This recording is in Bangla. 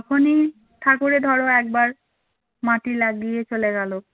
যখনই ঠাকুরের ধরো একবার মাটি লাগিয়ে চলে গেল